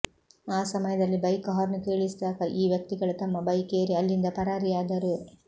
ಆ ಸಮಯದಲ್ಲಿ bike horn ಕೇಳಿಸಿದಾಗ ಈ ವ್ಯಕ್ತಿಗಳು ತಮ್ಮ ಬೈಕ್ ಏರಿ ಅಲ್ಲಿಂದ ಪರಾರಿಯಾದರು